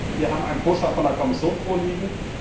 Wir haben einen Vorschlag von der Kommission vorliegen.